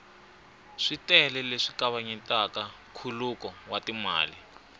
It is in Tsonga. switele leswi kavanyetaka nkhuluko wa timali